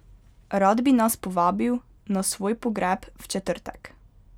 Rad bi nas povabil na svoj pogreb v četrtek.